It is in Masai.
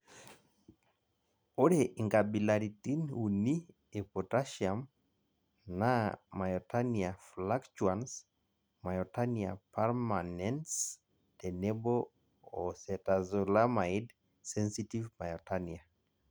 Ore inkabilaritin uni e potasiam naa myotonia fluctuans, myotonia permanens, tenebo o cetazolamide sensitive myotonia.